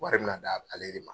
Wari mi na d'a ale de ma.